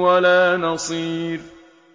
وَلَا نَصِيرٍ